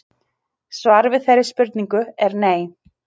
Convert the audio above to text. Svarið við þeirri spurningu er nei.